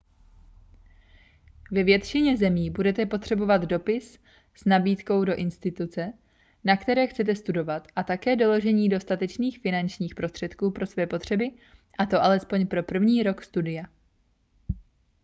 ve většině zemí budete potřebovat dopis s nabídkou od instituce na které chcete studovat a také doložení dostatečných finančních prostředků pro své potřeby a to alespoň pro první rok studia